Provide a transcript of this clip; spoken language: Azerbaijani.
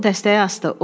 O dəstəyi asdı.